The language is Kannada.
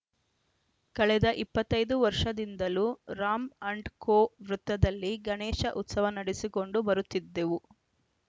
ಕಳೆದ ಇಪ್ಪತ್ತ್ ಐದು ವರ್ಷದಿಂದಲೂ ರಾಂ ಅಂಡ್‌ ಕೋ ವೃತ್ತದಲ್ಲಿ ಗಣೇಶ ಉತ್ಸವ ನಡೆಸಿಕೊಂಡು ಬರುತ್ತಿದ್ದೆವು